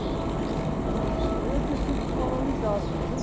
aí eu disse desmoralizado, entendeu?